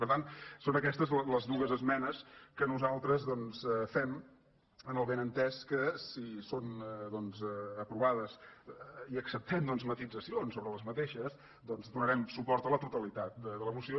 per tant són aquestes les dues esmenes que nosaltres fem amb el benentès que si són aprovades i acceptem matisacions sobre aquestes doncs donarem suport a la totalitat de la moció